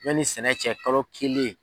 Yanni sɛnɛ cɛ kalo kelen.